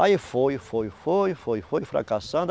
Aí foi, foi, foi, foi, foi fracassando.